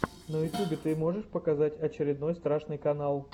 на ютубе ты можешь показать очень страшный канал